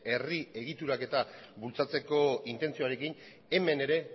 herri egituraketa bultzatzeko intentzioarekin hemen ere